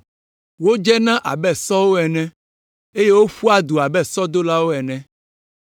Wodzena abe sɔwo ene eye woƒua du abe sɔdolawo ene.